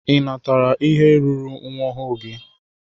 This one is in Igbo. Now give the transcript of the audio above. Ị natara ihe ruuru nwa ọhụụ gị?